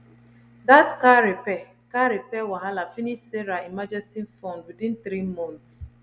that car repair car repair wahala finish sarah emergency fund within three months